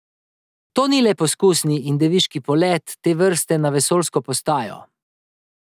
To ni le poskusni in deviški polet te vrste na vesoljsko postajo.